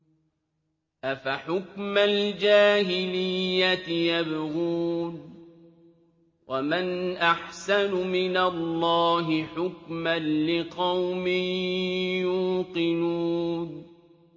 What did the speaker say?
أَفَحُكْمَ الْجَاهِلِيَّةِ يَبْغُونَ ۚ وَمَنْ أَحْسَنُ مِنَ اللَّهِ حُكْمًا لِّقَوْمٍ يُوقِنُونَ